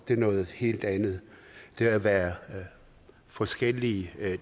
det er noget helt andet det at være forskellige er